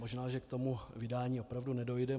Možná že k tomu vydání opravdu nedojde.